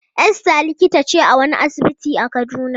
Esther likita ce a wani asibiti a Kaduna.